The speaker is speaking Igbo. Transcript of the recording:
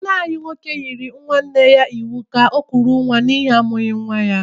Nna anyị yịrị nwa nwoke nwanne ya iwu ka ọ ga kụrụ nwa n' ihi amụghị nwa ha!